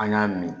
An y'a min